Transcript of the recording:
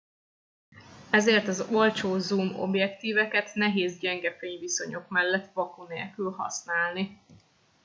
ezért az olcsó zoom objektíveket nehéz gyenge fényviszonyok mellett vaku nélkül használni